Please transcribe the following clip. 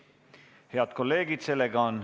Head kolleegid!